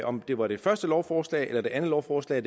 om det var det første lovforslag eller det andet lovforslag